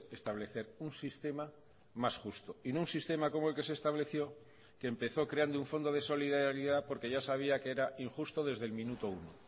establecer un sistema más justo y no un sistema como el que se estableció que empezó creando un fondo de solidaridad porque ya sabía que era injusto desde el minuto uno